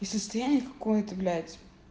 и состояние какое-то блять